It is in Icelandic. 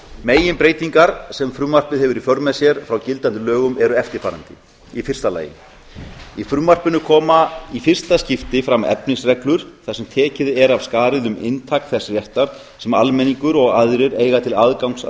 meginbreytingar sem frumvarpið hefur í för með sér frá gildandi lögum eru eftirfarandi fyrsta í frumvarpinu koma í fyrsta skipti fram efnisreglur þar sem tekið er af skarið um inntak þess réttar sem almenningur og aðrir eiga til aðgangs að